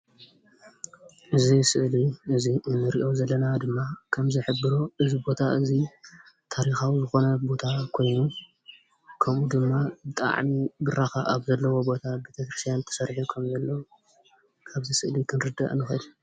ኣብዚ ስእሊ እንርኦ ዘለና ድማ ከም ዝሕብሮ እዚ ቦታ እዚ ታሪካዊ ዝኾነ ቦታ ኮይኑ ከምኡ ድማ ብጣዕሚ ኣብ ብራኸ ዘለዎ ቦታ ቤተ-ክርስትያን ተሰሪሑ ከምዘሎ ካብዚ ስእሊ ክንርዳእ ንኽእል።